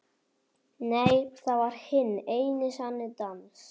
Nei, það var hinn eini sanni dans.